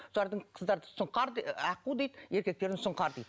солардың қыздарды аққу дейді еркектерін сұңқар дейді